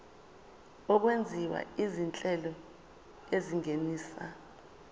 okwenziwa izinhlelo ezingenisa